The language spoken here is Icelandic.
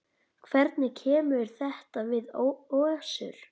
Hvernig kemur þetta við Össur?